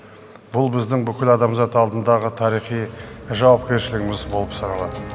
бұл біздің бүкіл адамзат алдындағы тарихи жауапкершілігіміз болып саналады